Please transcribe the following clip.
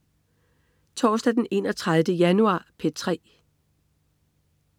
Torsdag den 31. januar - P3: